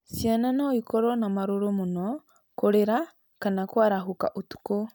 Ciana no ikorũo na marũrũ mũno, kũrĩra, kana kũarahũka ũtukũ.